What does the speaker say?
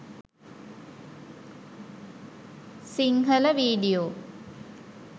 sinhala video.